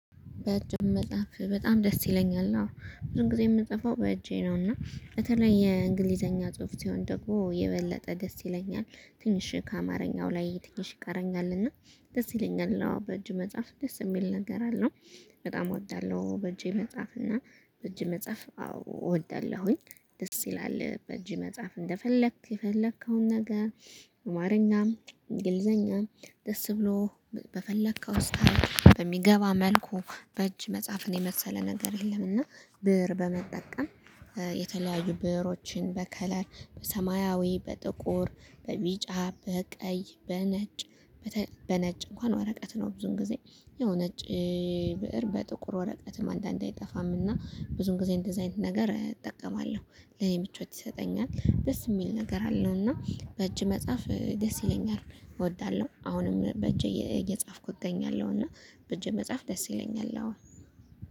በእጅህ መጽሐፍ በጣም ደስ ይለኛል አዎ ብዙ ጊዜ የምጽፈው በእጄ ነው እና በተለይ የእንግሊዘኛ ጽሁፍ ስሆን ደግሞ የበለጠ ደስ ይለኛል። ትንሽ ከአማርኛው ላይ ትንሽ ይቀረኛል እና ደስ ይለኛል። አዎ በእጅ መጽሐፍ ደስ የሚል ነገር አለው። በጣም እወዳለሁ በእጄ መጽሐፍ እና በእጅ መጽሐፍ አዎ እወዳለሁኝ። ደስ ይላል በእጅ መጽሐፍ እንደፈለክ የፈለከውን ነገር። አማርኛም እንግሊዘኛም ደስ ብሎ በፈለከው ስታይል በሚገባ መልኩ በእጅ መጽሐፍን የመሰለ ነገር የለም። እና ብር በመጠቀም የተለያዩ ብዕሮችን በከለር በሰማያዊ በጥቁር በቢጫ በቀይ በነጭ። በነጭ እንኳን ወረቀት ነው ብዙን ጊዜ የሆነ እጭ ብእር በጥቁር ወረቀትም አንዳንዴ አይጠፋም እና ብዙን ጊዜ እንደዚህ አይነት ነገር እጠቀማለሁ። ለኔ ምቾት ይሰጠኛል ደስ የሚል ነገር አለው። እና በእጅ መጽሐፍ ደስ ይለኛል እወዳለሁ። አሁንም በእጄ እየጻፍኩ እገኛለሁ እና በእጄ መጽሐፍ ደስ ይለኛል። አሁን